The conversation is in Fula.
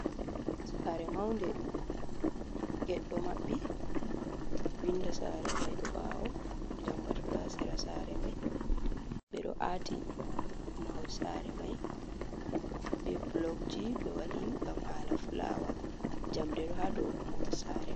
Sare maunde ged ɗo maɓɓi, windo sare mai do bawo lambatu, ɗo ha sera sare mai ɓe ɗo aati mahol sare mai, be blogji ɓe waɗi ngam hala fulawa jamɗeɗo hado mahol sare mai.